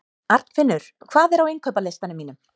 Arnfinnur, hvað er á innkaupalistanum mínum?